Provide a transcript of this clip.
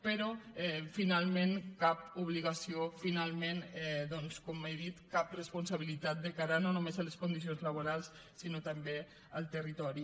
però finalment cap obligació finalment com he dit cap responsabilitat de cara no només a les condicions laborals sinó també al territori